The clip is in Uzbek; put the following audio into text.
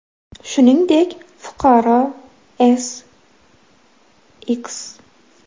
Shuningdek, fuqaro S.X.